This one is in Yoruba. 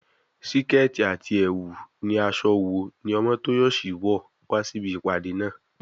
Síkẹ́ẹ̀tì àti ẹ̀wù ni aṣọ wo ní Omotoyosi wọ̀ wá sí ibi ìpàdé náà?